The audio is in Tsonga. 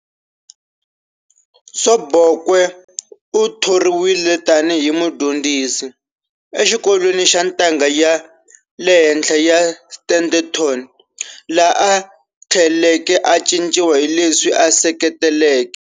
Sobukwe u thoriwile tani hi mudyondzisi exikolweni xa ntanga ya le henhla xa Standerton, laha a thleleke a caciwa hileswi a seketeleke.